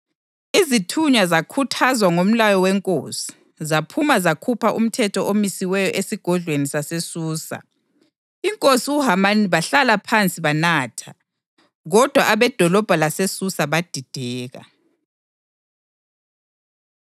Izithunywa zakhuthazwa ngumlayo wenkosi, zaphuma zakhupha umthetho omisiweyo esigodlweni saseSusa. Inkosi loHamani bahlala phansi banatha, kodwa abedolobho laseSusa badideka.